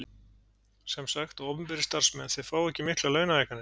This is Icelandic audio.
Sem sagt að opinberir starfsmenn þeir fá ekki miklar launahækkanir?